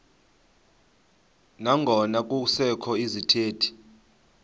nangona kusekho izithethi